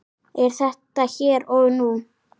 Er það hér og nú?